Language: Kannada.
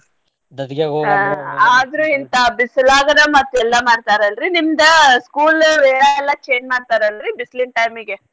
ಆದ್ರೂ ಇಂತಾ ಬಿಸ್ಲಾಗನ ಮತ್ತ ಎಲ್ಲಾ ಮಾಡ್ತಾರಲ್ರೀ ನಿಮ್ದ್ school ವೇಳಾ ಎಲ್ಲಾ change ಮಾಡ್ತಾರಲ್ರೀ ಬಿಸ್ಲಿನ್ time ಗೆ.